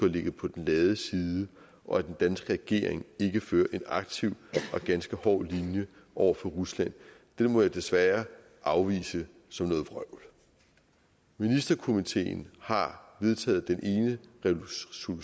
ligget på den lade side og at den danske regering ikke fører en aktiv og ganske hård linje over for rusland må jeg desværre afvise som noget vrøvl ministerkomiteen har vedtaget den ene resolution